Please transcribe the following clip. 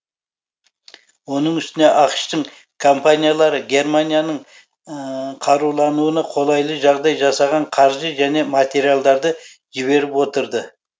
оның үстіне ақш тың компаниялары германияның қарулануына қолайлы жағдай жасаған қаржы және материалдарды жіберіп отырды